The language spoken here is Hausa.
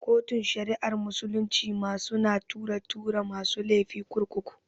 Kotun shari'ar musulunci ma su na tura tura masu lefi kurkuku